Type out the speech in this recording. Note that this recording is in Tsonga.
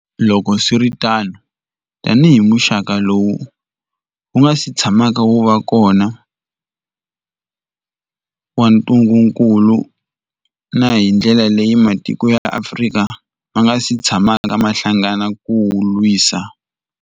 Loko swi ri tano, tanihi muxaka lowu wu nga si tshamaka wu va kona wa ntungukulu, na hi ndlela leyi matiko ya Afrika ma nga si tshamaka ma hlangana ku wu lwisa.